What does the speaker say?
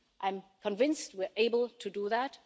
I'm convinced we're able to do that.